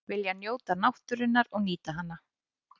Vilja njóta náttúrunnar og nýta hana